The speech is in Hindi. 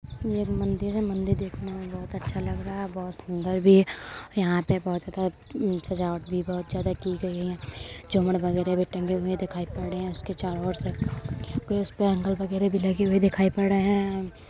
ये मंदिर है मंदिर देखने में बहोत अच्छा लग रहा है। बहोत सुदर भी है। यहाँ पे बहोत ज़्यदा उ सजावट भी बहोत ज़्यदा की गयी है। झूमर वगेरा भी टंगे हुए दिखाई पड़ रहे हैं। इसके चारों ओर से ऊपर से एंगल वगेरा भी लगे हुए दिखाई पड़ रहे हैं।